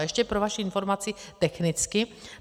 A ještě pro vaši informaci technicky.